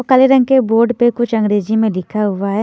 काले रंग के बोर्ड पे कुछ अंग्रेजी मे लिखा हुआ है।